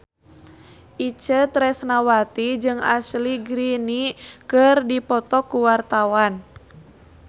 Itje Tresnawati jeung Ashley Greene keur dipoto ku wartawan